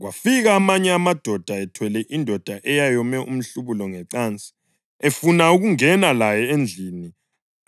Kwafika amanye amadoda ethwele indoda eyayome umhlubulo ngecansi efuna ukungena laye endlini